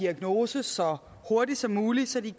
diagnose så hurtigt som muligt så de